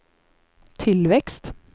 tillväxt